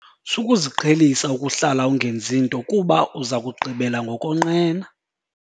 Sukuziqhelisa ukuhlala ungenzi nto kuba uza kugqibela ngokonqena.